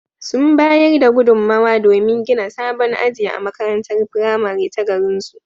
Sun bayar da gudunmowa domin gina sabon aji a makarantar firamare ta garinsu.